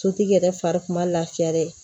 Sotigi yɛrɛ fari kun ma lafiya dɛ